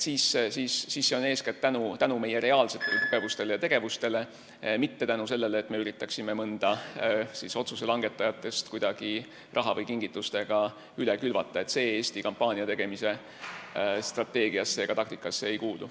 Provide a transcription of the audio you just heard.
Nii et edukus sõltub eeskätt meie reaalsetest tugevustest ja tegevusest, mitte sellest, et me üritame mõnda otsuse langetajat kuidagi raha või kingitustega üle külvata – see Eesti kampaaniategemise strateegiasse ega taktikasse ei kuulu.